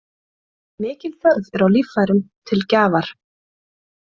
Mikil þörf er á líffærum til gjafar.